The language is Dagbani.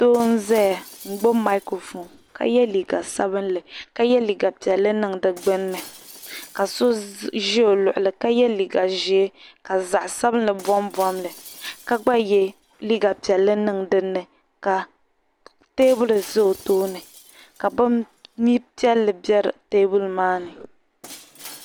Doo n-zaya n-gbubi "microphone" ka ye liiga sabinli ka ye liiga piɛlli niŋ di gbunni ka so ʒi o luɣili ka ye liiga ʒee ka zaɣ'sabinli bombom li ka gba ye liiga piɛlli niŋ dinni ka teebuli za o tooni ka bin'piɛlli be teebuli maa ni.